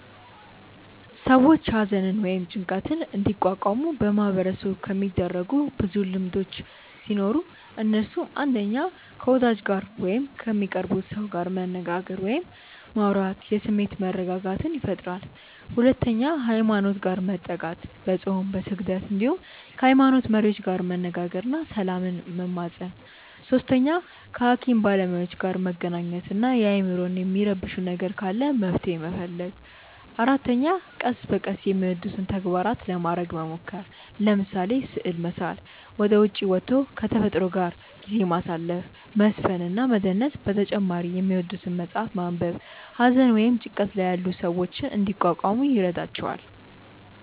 ሰዎች ሃዘንን ወይም ጭንቀትን እንዲቋቋሙ በማህበረሰቡ የሚደረጉ ብዙ ልምዶቹ ሲኖሩ እነሱም፣ 1. ከ ወዳጅ ጋር ወይም ከሚቀርቡት ሰው ጋር መነጋገር ወይም ማውራት የስሜት መረጋጋትን ይፈጥራል 2. ሃይማኖት ጋር መጠጋት፦ በፆም፣ በስግደት እንዲሁም ከ ሃይሞኖት መሪዎች ጋር መነጋገር እና ሰላምን መማፀን 3. ከ ሃኪም ባለሞያዎች ጋር መገናኘት እና አይምሮን የሚረብሽ ነገር ካለ መፍትሔ መፈለግ 4. ቀስ በቀስ የሚወዱትን ተግባራት ለማረግ መሞከር፤ ለምሳሌ፦ ስዕል መሳል፣ ወደ ዉጪ ወቶ ከ ተፈጥሮ ጋር ጊዜ ማሳለፍ፣ መዝፈን እና መደነስ በተጨማሪ የሚወዱትን መፅሐፍ ማንበብ ሃዘን ወይም ጭንቀት ላይ ያሉ ሰዎችን እንዲቋቋሙ ይረዷቸዋል።